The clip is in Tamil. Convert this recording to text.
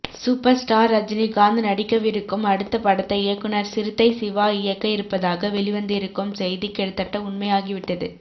சூப்பர் ஸ்டார் ரஜினிகாந்த் நடிக்கவிருக்கும் அடுத்த படத்தை இயக்குநர் சிறுத்தை சிவா இயக்க இருப்பதாக வெளிவந்திருக்கும் செய்தி கிட்டத்தட்ட உண்மையாகிவிட்டது